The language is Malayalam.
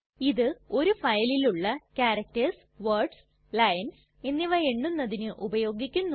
ഇത് ഒരു ഫയലിലുള്ള ക്യാരക്ടർസ് വേർഡ്സ് ലൈൻസ് എന്നിവ എണ്ണുന്നതിന് ഉപയോഗിക്കുന്നു